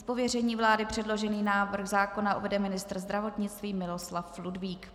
Z pověření vlády předložený návrh zákona uvede ministr zdravotnictví Miloslav Ludvík.